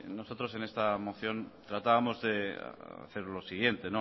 nosotros en esta moción tratábamos de hacer lo siguiente